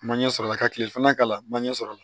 Ma ɲɛ sɔrɔla ka tile filanan k'a la manje sɔrɔ la